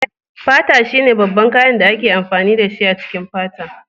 Fata shine babban kayan da ake amfani dashi a cikin fata.